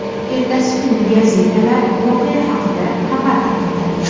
Ertasi kuni gazetalar voqea haqida xabar tarqatadi.